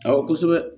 Awɔ kosɛbɛ